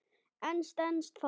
En stenst það?